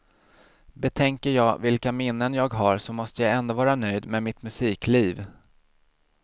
Betänker jag vilka minnen jag har så måste jag ändå vara nöjd med mitt musikliv.